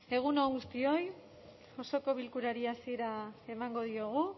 egun on guztioi osoko bilkurari hasiera emango diogu